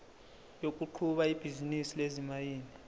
yokuqhuba ibhizinisi lezimayini